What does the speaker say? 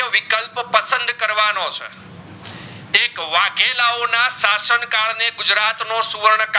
tech વાઘેલાઓ ના સાસણ કાળ ને ગુજરાત નો સુવર્ણા